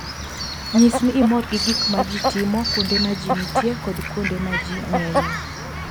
Nyis ni imor gi gik ma ji timo kuonde ma ji nitie kod kuonde ma ji ng'enyie.